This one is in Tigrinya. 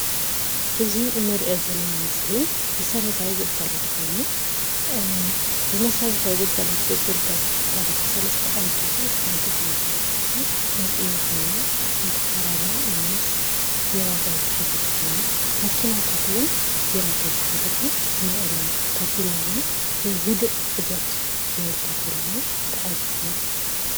እዚ እንሪኦ ዘለና ምስሊ መሰረታዊ ግልጋሎት ኮይኑ ብመሰረታዊ ግልጋሎት ዝግልገሉ ሰባት 3+ ኣወዳትን ሓንቲ ጓል ኣንስተይትን ንሪኢ ኣለና፡፡ ሓንቲ ዓረብያ ምስ ቢራታት ዝሓዘት ኮይና መኪናታት እውን ቢራታት ዝሓዘት ውን ንሪኢ ኣለና ታፔላታት ውን ህዱህ ሂደት ዝብል ታፔላ ውን ተዓዚብና፡፡